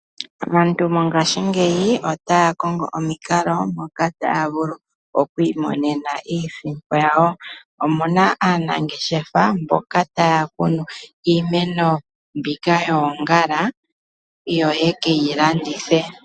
Aantu mongashiingeyi otaya kongo omikalo moka taya vulu okwiimonena iisimpo yawo. Omuna aanangeshefa mboka taya kunu iimeno mbika yoongala yo ye keyi landithe.